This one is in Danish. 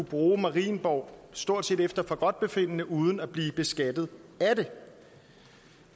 bruge marienborg stort set efter forgodtbefindende uden at blive beskattet af